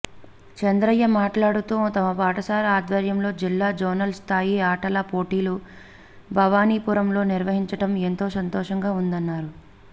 చంద్రయ్య మాట్లాడుతూ తమ పాఠశాల ఆధ్వర్యంలో జిల్లా జోనల్ స్థాయి ఆటల పోటీలు భవానీపురంలో నిర్వహించటం ఎంతో సంతోషంగా వుందన్నారు